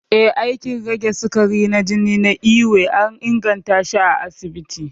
Ee, aikin rage sukarin jini na ewe an ingantashi a asibiti